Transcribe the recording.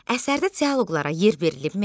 Əsərdə dialoqlara yer verilibmi?